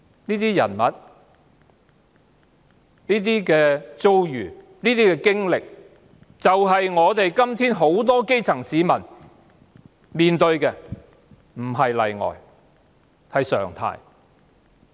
這些人物、遭遇、經歷是現今很多基層市民所面對的，上述個案不是例外，而是常態。